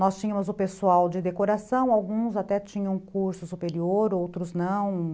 Nós tínhamos o pessoal de decoração, alguns até tinham curso superior, outros não.